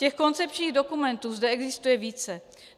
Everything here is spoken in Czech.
Těch koncepčních dokumentů zde existuje více.